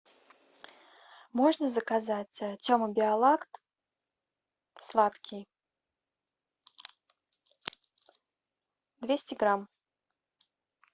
можно заказать тема биолакт сладкий двести грамм